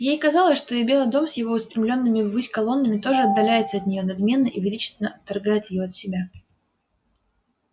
ей казалось что и белый дом с его устремлёнными ввысь колоннами тоже отдаляется от неё надменно и величественно отторгает её от себя